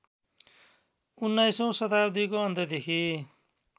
१९औँ शताब्दिको अन्त्यदेखि